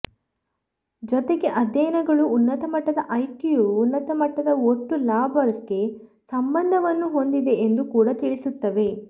ಜತೆಗೇ ಅಧ್ಯಯನಗಳು ಉನ್ನತಮಟ್ಟದ ಐಕ್ಯೂವು ಉನ್ನತಮಟ್ಟದ ಒಟ್ಟು ಲಾಭಕ್ಕೆ ಸಂಬಂಧವನ್ನು ಹೊಂದಿದೆ ಎಂದು ಕೂಡ ತಿಳಿಸುತ್ತವೆ